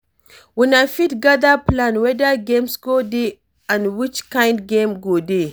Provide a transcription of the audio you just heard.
Una fit gather plan weda games go dey and which kind game go dey